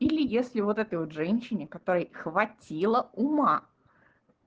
или если вот этой вот женщине которой хватило ума